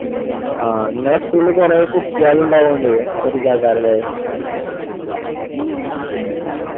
ഉം ആഹ് നിങ്ങെളെ school കുറേ കുട്ടിയേളുണ്ടായൊണ്ട് ഒരു ഇതേയ്ക്കാരല്ലേ ഉം ഉം